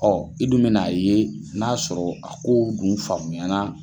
i dun bɛ n'a ye n'a y'a sɔrɔ a ko dun faamuyana.